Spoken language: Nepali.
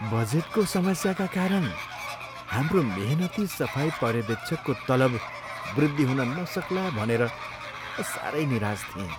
बजेटको समस्याका कारण हाम्रो मेहनती सफाई पर्यवेक्षकको तलब वृद्धि हुन नसक्ला भनेर म सारै निराश थिएँ।